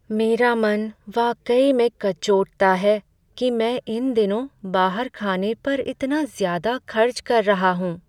मेरा मन वाकई में कचोटता है कि मैं इन दिनों बाहर खाने पर इतना ज्यादा खर्च कर रहा हूँ।